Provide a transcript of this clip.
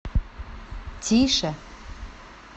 тише